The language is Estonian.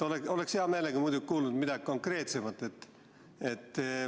Oleks hea meelega muidugi kuulnud midagi konkreetsemat.